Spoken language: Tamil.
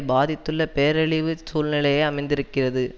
பாதித்துள்ள பேரழிவுச் சூழ்நிலையை அமைந்திருக்கிறது